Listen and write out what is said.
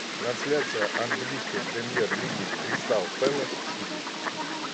трансляция английской премьер лиги кристал пэлас сити